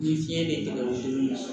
Ni fiɲɛ be tigɛ o mun na